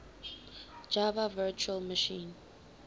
java virtual machine